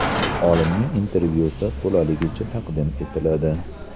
Olimning intervyusi to‘laligicha taqdim etiladi.